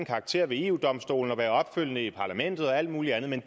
karakter ved eu domstolen være opfølgende i parlamentet og alt muligt andet men